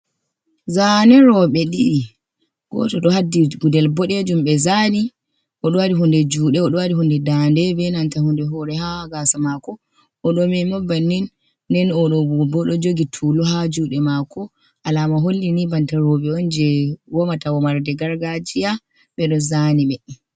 Zane roɓe ɗiɗi. goto ɗo haddi Gudel boɗejum be zani oɗo waɗi hunde juɗe oɗo waɗi hunde Dande be nanta hunde hore ha Gasa mako. Oɗo Menma bannin nen oɗo gobo oɗo jogi tulu ha juɗe mako, alama hollini banta robe'on je womata womarde gargajiya ɓe ɗon zaniɓe.